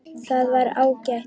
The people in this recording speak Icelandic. Það var ágætt.